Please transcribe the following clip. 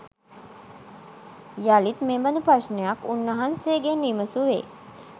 යළිත් මෙබඳු ප්‍රශ්නයක් උන්වහන්සේගෙන් විමසුවේය.